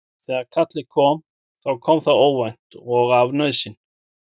Þegar kallið kom þá kom það óvænt og af nauðsyn.